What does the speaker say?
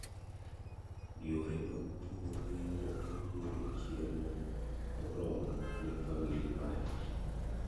Yore mag pur miyo japuonj yudo chiemo morormo ne famili mare.